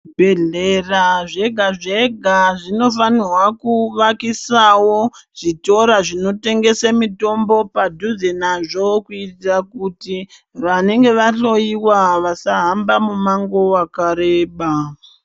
Zvibhehlera zvega zvega zvinofanirwa kuvakisawo zvitora zvinotengese mitombo padhuze nazvo kuitira kuti vanenge vahloiwa vasahamba mumango wakareba.